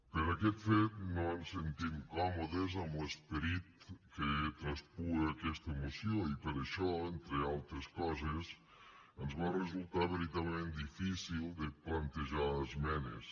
per aquest fet no ens sentim còmodes amb l’esperit que traspua aquesta moció i per això entre altres coses ens va resultar veritablement difícil de plantejar esmenes